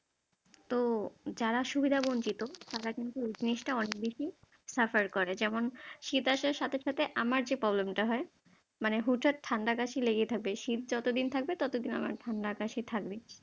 তো যারা সুবিধা বঞ্চিত তারা কিন্তু এই জিনসটা অনেক বেশি suffer করে, যেমন শীত আসার সাথে সাথে আমার যে problem টা হয় মানে হুটহাট ঠাণ্ডা কাশি লেগেই থাকবে, শীত যতদিন থাকবে ততদিন আমার ঠাণ্ডা কাশি থাকবে ।